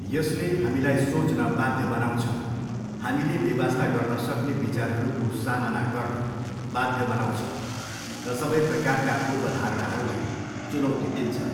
यसले हामीलाई सोच्न बाध्य बनाउँछ, हामीले बेवास्ता गर्न सक्ने विचारहरूको सामना गर्न बाध्य बनाउँछ, र सबै प्रकारका पूर्वधारणाहरूलाई चुनौती दिन्छ।